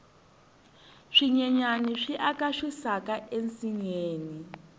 swinyenyani swi aka xisaka ensinyeni